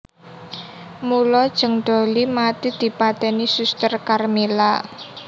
Mula Jeng Dollie mati dipateni Suster Karmila